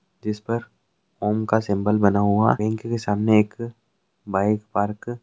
जिस पर ओम का सिंबल बना हुआ बैंक के सामने एक बाइक पार्क--